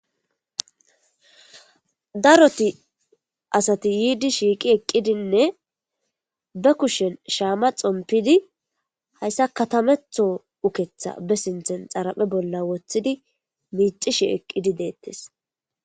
Daro asati yidi shiqi eqidine ba kushen shame xonpidi haysa katamathho ukkeththa ba sinten xarphe boll woththi micisheshe detes